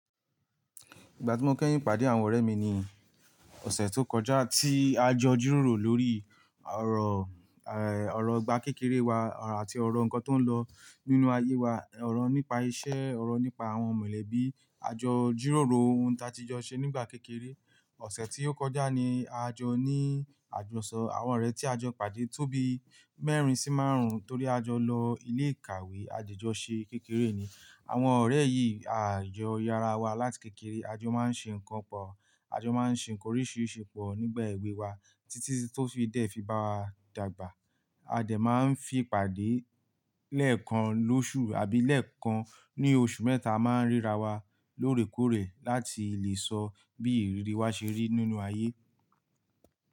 Ìgbà tí mo kẹ́yìn pàdé àwọn ọ̀rẹ́ mi ní ọ̀sẹ̀ tó kọjá tí a jọ jíròrò lórí ọ̀rọ̀, ẹ́, ọ̀rọ̀ ìgbà kékeré wa àti ọ̀rọ̀ nǹkan tó ń lọ nínú ayé wa, ọ̀rọ̀ nípa isẹ́, ọ̀rọ̀ nípa àwọn mọ̀lẹ́bí, a jọ jíròrò ohun ta ti jọ ṣe nígbà kékeré. Ọ̀sẹ̀ tí ó kọjá ni a jọ ní àjọsọ, àwọn ọ̀rẹ́ tí a jọ pàdé tó bi mẹ́rin sí márùn torí a jọ lọ ilé ìkàwé ajì jọ ṣe kékeré ni. Àwọn ọ̀rẹ́ yìí a jọ yára wa láti kékeré, a jọ máa ń ṣe nǹkan pọ̀, a jọ máa ń ṣe nǹkan oríṣiríṣi pọ̀ nígbà ẹ̀wé wa títí tó fi dẹ̀ fi bá wa dàgbà. A dẹ̀ máa ń fi pàdé lẹ́ẹ̀kan lọ́ṣù àbí lẹ́ẹ̀kan ní oṣù mẹ́ta a máa ń ríra wa lóòrèkóòrè láti lè sọ bí ìrírí wa ṣe rí nínú ayé.